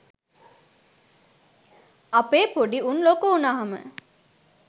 අපේ පොඩි උන් ලොකු උනහම